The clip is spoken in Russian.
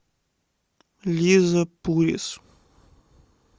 лиза пурис